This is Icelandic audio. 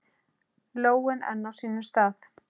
Lóin enn á sínum stað.